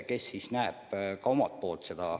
Tema näeb olukorda oma vaatevinklist.